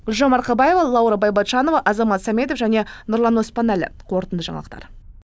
гүлжан марқабаева лаура байбатчанова азамат сәметов және нұрлан оспанәлі қорытынды жаңалықтар